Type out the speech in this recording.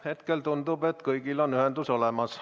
Hetkel tundub, et kõigil on ühendus olemas.